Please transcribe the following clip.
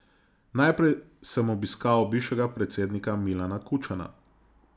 Najprej sem obiskal bivšega predsednika Milana Kučana.